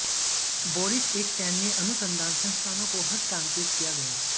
Boris एक सैन्य अनुसंधान संस्थानों को हस्तांतरित किया गया